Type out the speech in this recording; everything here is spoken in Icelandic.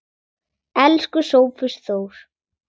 Elsku Sófus Þór.